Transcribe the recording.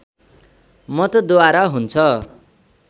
मतद्वारा हुन्छ